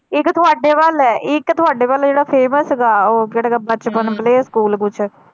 ਇੱਕ ਤੁਹਾਡੇ ਵੱਲ ਹੈ ਇੱਕ ਤੁਹਾਡੇ ਵੱਲ ਜਿਹੜਾ famous ਹੈਗਾ ਉਹ ਕਿਹੜਾ ਬਚਪਨ ਹਮ playschool ਕੁਛ।